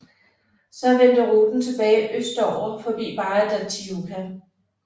Så vendte ruten tilbage østover forbi Barra da Tijuca